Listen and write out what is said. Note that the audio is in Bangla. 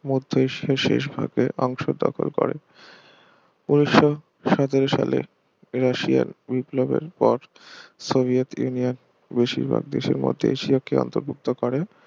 মধ্য এশিয়ার শেষ ভাগের অংশ দখল করে উনিশশো সতেরো সাল রাশিয়ান বিপ্লবের পর সোভিয়েত ইউনিয়ন বেশির ভাগ দেশের মতই এশিয়াকে অন্তর্ভুক্ত করে